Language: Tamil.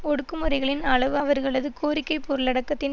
ஒடுக்குமுறைகளின் அளவு அவர்களது கோரிக்கை பொருளடக்கத்தின்